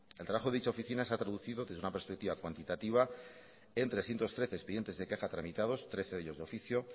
el trabajo de dicha oficina se ha traducido desde una perspectiva cuantitativa en trescientos trece expedientes de quejas tramitados trece de ellos de oficio